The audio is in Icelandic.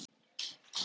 Skiptir þetta máli??